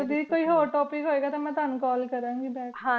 ਕਦੀ ਕੋਈ ਹੋਰ topic ਹੋਏ ਗਾ ਤਾ ਮੈ ਤ੍ਵਾਨੁ ਕਾਲ ਕਰਨ ਗੀ